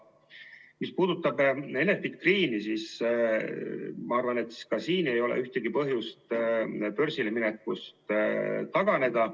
Mis puudutab Enefit Greeni, siis ma arvan, et ka siin ei ole ühtegi põhjust börsile minekust taganeda.